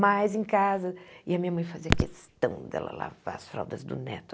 Mas em casa... E a minha mãe fazia questão dela lavar as fraldas do neto.